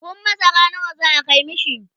buhun masara nawa za'a Kai mishi?